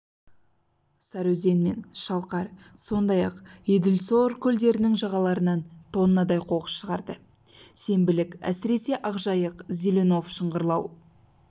сарыөзен мен шалқар сондай-ақ еділсор көлдерінің жағаларынан тоннадай қоқыс шығарды сенбілік әсіресе ақжайық зеленов шыңғырлау